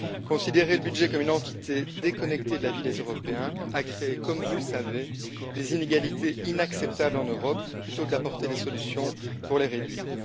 Le fait de considérer le budget comme une entité déconnectée de la vie des Européens a créé, comme vous le savez, des inégalités inacceptables en Europe au lieu d'apporter des solutions pour les réduire.